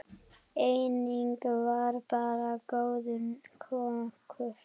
Einnig var hann góður kokkur.